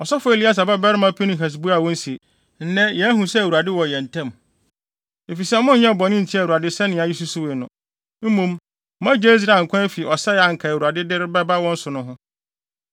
Ɔsɔfo Eleasar babarima Pinehas buaa wɔn se, “Nnɛ yɛahu sɛ Awurade wɔ yɛn ntam, efisɛ monyɛɛ bɔne ntiaa Awurade sɛnea yesusuwii no, mmom moagye Israel nkwa afi ɔsɛe a anka Awurade de reba wɔn so no ho.”